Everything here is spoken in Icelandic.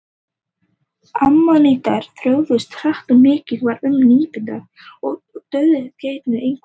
Ammonítar þróuðust hratt og mikið var um nýmyndun og útdauða tegunda, einkum á miðlífsöld.